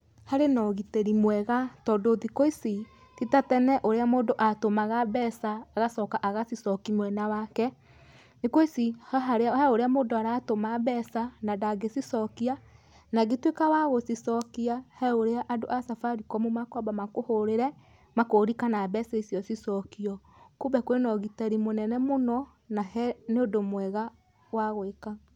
Harĩ na ũgitĩri mwega tondũ thikũ ici ti ta tene ũrĩa mũndũ atũmaga mbeca agacoka agacicokia mwena wake. Thikũ ici he ũrĩa mũndũ aratũma mbeca na ndangĩcicokia na angĩtuĩka wa gũcicokia he ũrĩa andũ a Safaricom mekwamba makũhũrĩre, makũrie kana mbeca icio cicokio. Kumbe kwĩna ũgitĩri mũnene mũno na nĩ ũndũ mwega wa gwĩka.